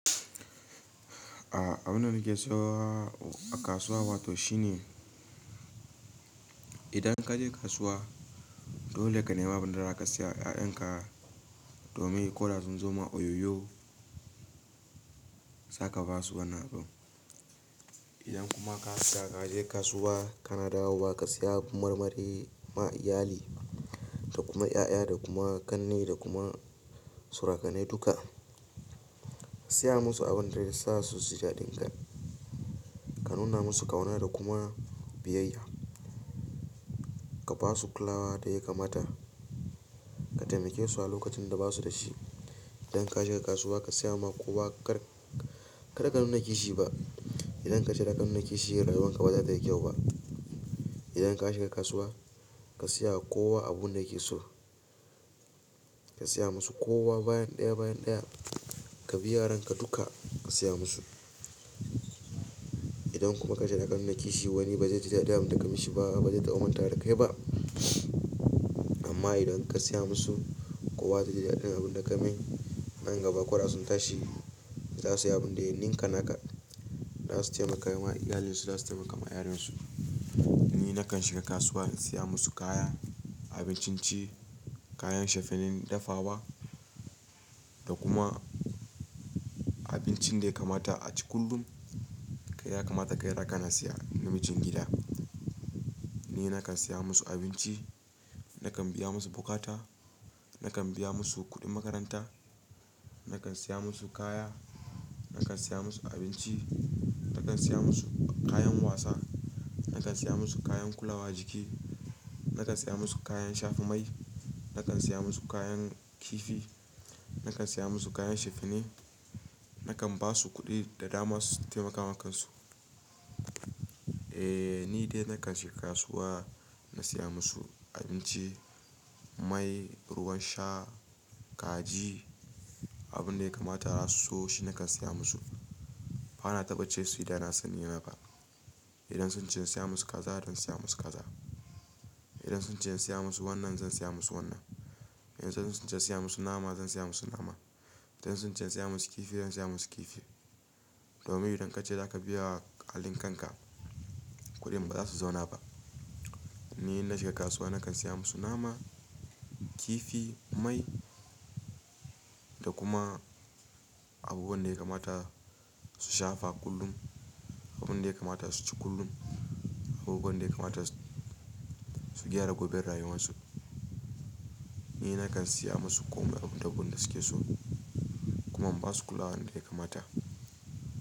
A abun da nake so a kasuwa wato shine idan ka je kasuwa dole ka nema abin da za ka siya wa 'ya'yan ka domin ko da sun zo ma oyoyo za ka ba su wani abu. Idan kuma ka je kasuwa kana dawowa ka siya marmari ma iyali da kuma 'ya'ya da kuma ƙanne da kuma surukane duka. Ka siya musu abin da zasu ji daɗin ka. Ka nuna musu ƙauna da kuma biyayya. Ka ba su kulawa da ya kamata. Ka taimake su a lokacin da basu da shi. Idan ka shiga kasuwa ka siya ma kowa kar, kar ka nuna kishi ba. Idan ka je ka nuna kishi rayuwan ka bata tayi kyau ba. Idan ka shiga kasuwa ka siya kowa abun da yake so. Ka siya musu kowa bayan ɗaya bayan ɗaya. Ka bi yaran ka duka ka siya musu. Idan kuma ka je ka nuna kishi wani bazai ji daɗin da ka yi shi ba, bazai taɓa manta da kai ba. Amma idan ka siya musu kowa zai ji daɗin abin da ka yi. Nan gaba ko da sun tashi za su yi abin da ya ninka naka. Za su taimaka ma iyalinsu, za su taimaka ma yaran su. Ni nakan shiga kasuwa in siya musu kaya, abincin ci, kayan shafenin dafawa da kuma abincin da ya kamata a ci kullum. Ya kamata kai raka na siya na mijin gida. Ni nakan siya musu abinci, nakan biya musu bukata, nakan biya musu kuɗin makaranta, nakan siya musu kaya, nakan siya musu abinci, nakan siya musu kayan wasa, nakan siya musu kayan kulawa jiki, nakan siya musu kayan shafa mai, nakan siya musu kayan kifi, nakan siya musu kayan shafine, nakan ba su kuɗi da dama su taimaka wa kan su. Eh ni dai nakan shiga kasuwa na siya musu abinci, mai, ruwan sha, kaji, abun da ya kamata su so shi nakan siya musu. Bana taɓa ce su yi da na sani yana ba. Idan sun ce in siya musu kaza zan siya musu kaza. Idan sun ce in siya musu wannan zan siya musu wannan. Idan sun ce in siya musu nama zan siya musu nama. Idan sun ce in siya musu kifi zan siya musu kifi. Domin idan ka je za ka biya halin kan ka kuɗi bazasu zauna ba. Ni in na shiga kasuwa nakan siya musu nama, kifi, mai da kuma abubuwan da ya kamata su shafa kullum. Abun da ya kamata su ci kullum. Abubuwan da ya kamata su gyara gobai rayuwan su. Ni nakan siya musu komai abun da duk suke so kuma ba su kulawa da ya kamata.